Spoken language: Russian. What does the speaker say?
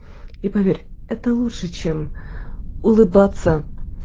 и поверь это лучше чем улыбаться